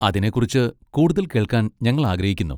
അതിനെക്കുറിച്ച് കൂടുതൽ കേൾക്കാൻ ഞങ്ങൾ ആഗ്രഹിക്കുന്നു.